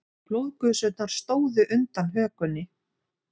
Blóðgusurnar stóðu undan hökunni.